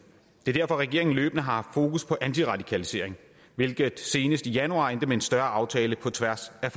det er derfor at regeringen løbende har haft fokus på antiradikalisering hvilket senest i januar endte med en større aftale på tværs af